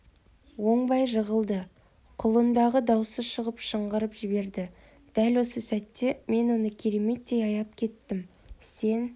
оңбай жығылды құлындағы даусы шығып шыңғырып жіберді дәл осы сәтте мен оны кереметтей аяп кеттім сен